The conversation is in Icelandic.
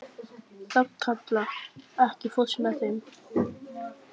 Hrafnkatla, ekki fórstu með þeim?